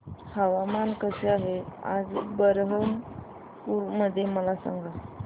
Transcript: हवामान कसे आहे आज बरहमपुर मध्ये मला सांगा